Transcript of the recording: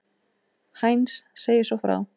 Heinz segir svo frá: